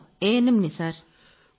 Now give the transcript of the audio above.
నేనో ANMని సర్